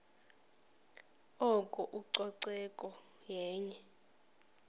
oko ucoceko yenye